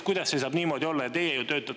Kuidas see saab niimoodi olla?